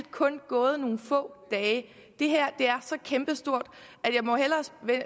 kun gået nogle få dage det her er så kæmpestort